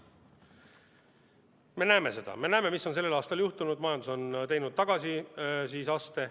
Me näeme seda, me näeme, mis on sellel aastal juhtunud: majandus on teinud tagasiaste.